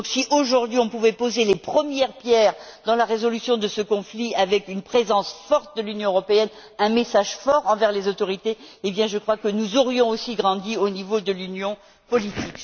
Si, aujourd'hui, on pouvait poser les premières pierres de la résolution de ce conflit avec une présence forte de l'Union européenne et un message fort envers les autorités, je crois que nous aurions aussi grandi au niveau de l'union politique.